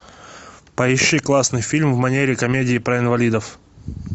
поищи классный фильм в манере комедии про инвалидов